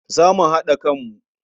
Za mu haɗa kanmu.